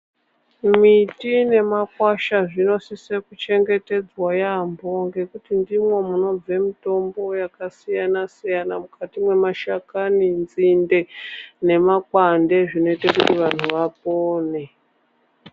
Miti nemakwasha zvinosise kuchengetedzwa yaamho ngekuti ndimwo munobve mitombo yakasiyana-siyana mukati memashakani, nzinde nemakwande zvinoite kuti vantu vapone.